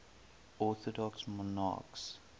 orthodox monarchs